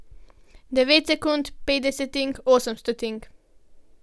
Devet sekund, pet desetink, osem stotink.